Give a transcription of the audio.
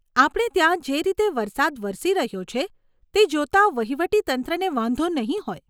આપણે ત્યાં જે રીતે વરસાદ વરસી રહ્યો છે, તે જોતાં વહીવટી તંત્રને વાંધો નહીં હોય.